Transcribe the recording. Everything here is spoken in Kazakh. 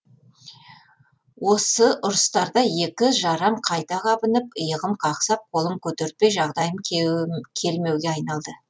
осы ұрыстарда ескі жарам қайта қабынып иығым қақсап қолым көтертпей жағдайым келмеуге айналды